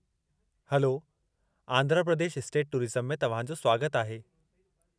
Hello, Andhra Pradesh state tourism में तव्हां जो स्वागतु आहे।